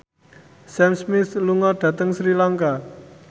Sam Smith lunga dhateng Sri Lanka